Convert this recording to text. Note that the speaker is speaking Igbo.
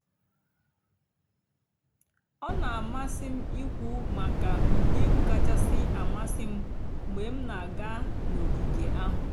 ọ́ nà-àmásị́ m íkwú màkà ụ́dị́ ègwú kàchàsị́ àmásị́ m mg̀bé m nà-àgá n'ògíge àhú́.